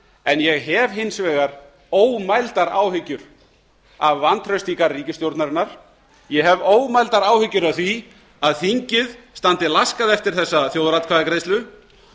en ég hef hins vegar ómældar áhyggjur af vantrausti í garð ríkisstjórnarinnar ég hef ómældar áhyggjur af því að þingið standi laskað eftir þessa þjóðaratkvæðagreiðslu